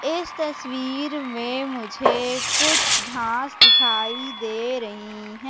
इस तस्वीर में मुझे कुछ घास दिखाई दे रही हैं।